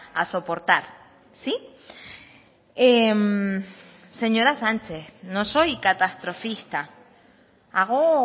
a soportar sí señora sánchez no soy catastrofista hago